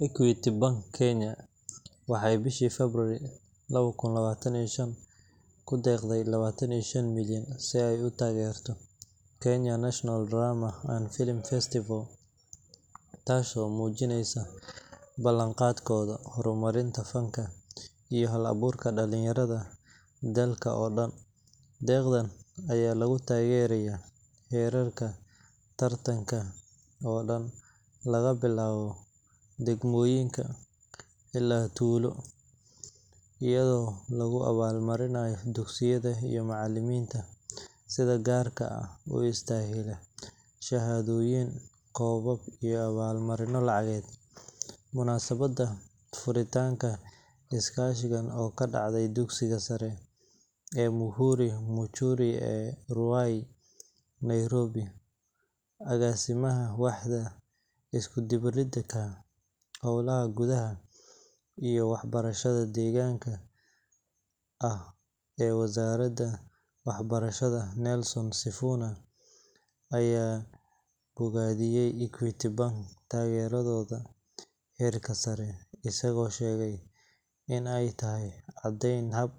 Equity Bank Kenya waxay bishii Febraayo lawa kun lawatan iyo shan ku deeqday lawatan iyo shan milyan si ay u taageerto Kenya National Drama and Film Festival, taasoo muujinaysa ballanqaadkooda horumarinta fanka iyo hal-abuurka dhalinyarada dalka oo dhan. Deeqdan ayaa lagu taageerayaa heerarka tartanka oo dhan laga bilaabo degmooyinka ilaa heerka qaran iyadoo lagu abaalmarinayo dugsiyada iyo macallimiinta sida gaarka ah u istaahila shahaadooyin, koobab, iyo abaalmarino lacageed .Munaasabadda furitaanka iskaashigan oo ka dhacday dugsiga sare ee Muhuri Muchiri ee Ruai, Nairobi, Agaasimaha Waaxda Isku-dubbaridka Hawlaha Goobaha iyo Waxbarashada Dheeraadka ah ee Wasaaradda Waxbarashada, Nelson Sifuna, ayaa bogaadiyay Equity Bank taageeradooda heerka hoose, isagoo sheegay in ay tahay caddayn dhab